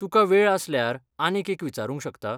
तुका वेळ आसल्यार आनीक एक विचारूंक शकतां?